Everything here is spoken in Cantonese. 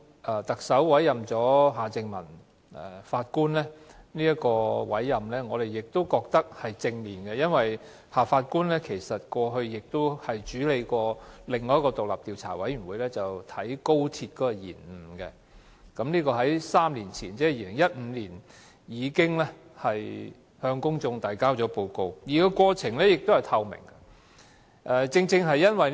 對於特首委任前法官夏正民，我們認為是正面的，因為他過去亦曾負責另一個獨立專家小組，調查高鐵的延誤問題，並已在3年前向公眾提交報告，而且過程相當透明。